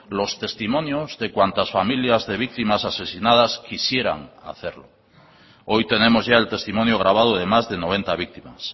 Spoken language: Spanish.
los testimonios de cuantas familias de víctimas asesinadas quisieran hacerlo hoy tenemos ya el testimonio grabado de más de noventa víctimas